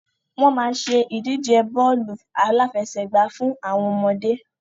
Wọn máa ṣe ìdíje bọ́ọ́lù aláfẹsẹ̀gba fún àwọn ọmọdé